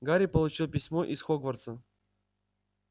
гарри получил письмо из хогвартса